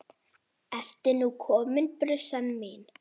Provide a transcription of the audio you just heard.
Ertu nú komin, brussan mín?